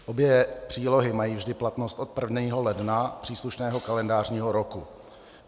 Obě přílohy mají vždy platnost od 1. ledna příslušného kalendářního roku.